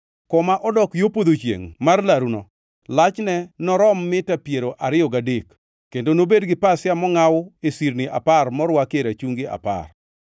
“Koma odok yo podho chiengʼ mar laruno lachne norom mita piero ariyo gadek kendo nobed gi pasia mongʼaw e sirni apar morwakie rachungi apar.